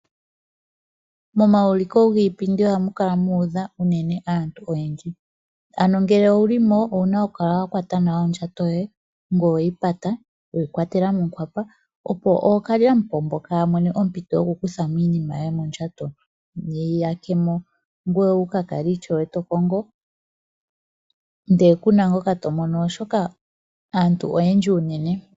Momaulikilo giipindi ohamukala mu udha unene aantu. Ngele owulimo owuna okukala wakwata nawa ondjato yoye ngoye weyi pata ,weyi kwatela monkwapa opo ookalyamupombo kayamone ompito yoku kuthamo iinima yoye mondjato yeyi yakemo ngoye wukakale ishewe tokongo ndele kuna ngoka tomono oshoka aantu oyendji unene.